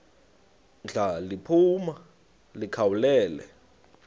ndla liphuma likhawulele